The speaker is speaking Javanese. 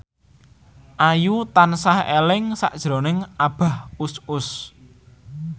Ayu tansah eling sakjroning Abah Us Us